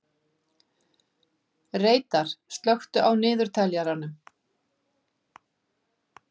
Reidar, slökktu á niðurteljaranum.